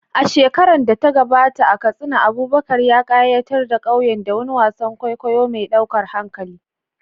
A shekarar da ta gabata, a Katsina, Abubakar ya ƙayatar da ƙauyen da wani wasan kwaikwayo mai ɗaukar hankali